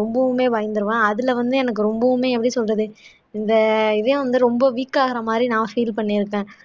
ரொம்பவுமே பயந்திருவேன் அதுல வந்து எனக்கு ரொம்பவுமே எப்படி சொல்றது இந்த இதயம் வந்து ரொம்ப weak ஆகற மாதிரி நான் feel பண்ணிருக்கேன்